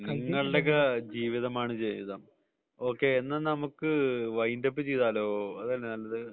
നിങ്ങളുടെയൊക്കെ ജീവിതമാണ് ജീവിതം എന്നാൽ നമുക്ക് വൈൻഡ് അപ്പ് ചെയ്താലോ അതല്ലേ നല്ലത്